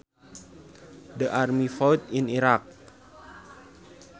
The army fought in Iraq